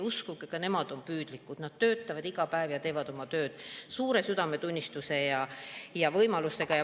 Uskuge, ka nemad on püüdlikud, nad töötavad iga päev ja teevad oma tööd suure südametunnistusega ja oma võimalustega.